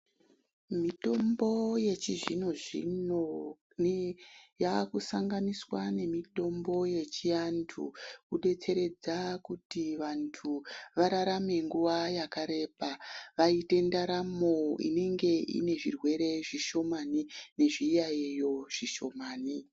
Mitombo yechizvino zvino yakusanganiswa nemitombo yechiantu kudetseredza kuti muntu vararame nguwa yakareba vaite ndaramo inenge ine zvirwere zvishomani nezviyaiyo zvishomani.